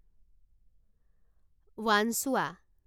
Wanchuwa